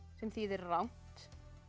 sem þýðir rangt